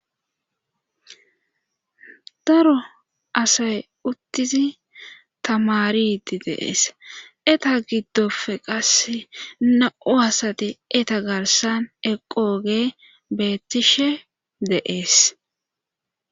Daro asay uttizi tamariti deees eta giddofe qas na7u asati eta garsan eqooge beettishe deees.